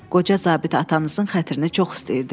Qoca zabit atanızın xətrini çox istəyirdi.